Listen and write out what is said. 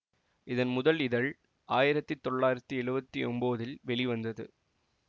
இதன் முதல் இதழ் ஆயிரத்தி தொள்ளாயிரத்தி எழுவத்தி ஒன்போதில் வெளிவந்தது